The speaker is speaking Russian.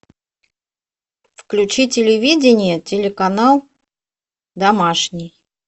включи телевидение телеканал домашний